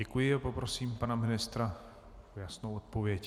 Děkuji a poprosím pana ministra o jasnou odpověď.